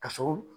Ka sɔrɔ